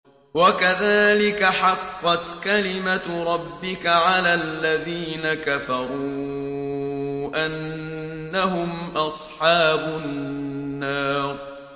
وَكَذَٰلِكَ حَقَّتْ كَلِمَتُ رَبِّكَ عَلَى الَّذِينَ كَفَرُوا أَنَّهُمْ أَصْحَابُ النَّارِ